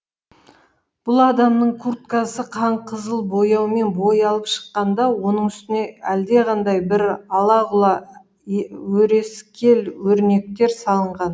бұл адамның курткасы қанқызыл бояумен боялып шыққан да оның үстіне әлдеқандай бір ала құла өрескел өрнектер салынған